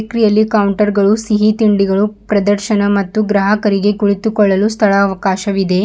ಬೆಕ್ರಿ ಅಲ್ಲಿ ಕೌಂಟರ್ ಗಳು ಸಿಹಿ ತಿಂಡಿಗಳು ಪ್ರದರ್ಶನ ಮತ್ತೂ ಗ್ರಾಹಕರಿಗೆ ಕುಳಿತುಕೊಳ್ಳಲು ಸ್ಥಳ ಅವಕಾಶವಿದೆ.